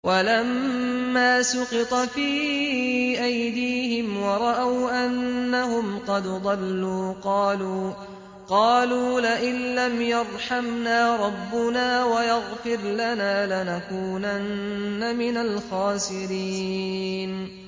وَلَمَّا سُقِطَ فِي أَيْدِيهِمْ وَرَأَوْا أَنَّهُمْ قَدْ ضَلُّوا قَالُوا لَئِن لَّمْ يَرْحَمْنَا رَبُّنَا وَيَغْفِرْ لَنَا لَنَكُونَنَّ مِنَ الْخَاسِرِينَ